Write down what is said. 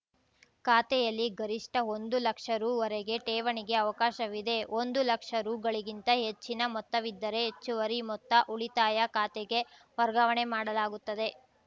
ಖಾತೆಯಲ್ಲಿ ಗರಿಷ್ಠ ಒಂದು ಲಕ್ಷ ರು ವರೆಗೆ ಠೇವಣಿಗೆ ಅವಕಾಶವಿದೆ ಒಂದು ಲಕ್ಷ ರುಗಳಿಗಿಂತ ಹೆಚ್ಚಿನ ಮೊತ್ತವಿದ್ದರೆ ಹೆಚ್ಚುವರಿ ಮೊತ್ತ ಉಳಿತಾಯ ಖಾತೆಗೆ ವರ್ಗಾವಣೆ ಮಾಡಲಾಗುತ್ತದೆ